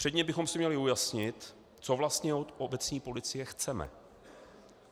Předně bychom si měli ujasnit, co vlastně od obecní policie chceme.